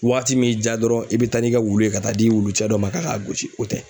Waati min ja dɔrɔn i bɛ taa n'i ka wulu ye ka taa di wulu cɛ dɔ ma ka k'a gosi o tɛ.